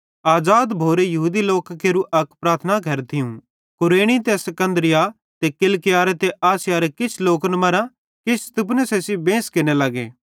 आज़ाद भोरे यहूदी लोकां केरू अक प्रार्थना घर थियूं कुरेनी ते सिकन्दरिया ते किलिकियारे ते आसियारे किछ लोकन मरां किछ स्तिफनुसे सेइं बेंस केरने लगे